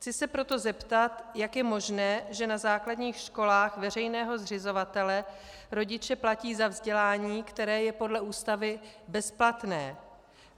Chci se proto zeptat, jak je možné, že na základních školách veřejného zřizovatele rodiče platí za vzdělání, které je podle Ústavy bezplatné.